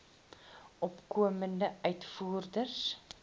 opkomende uitvoerders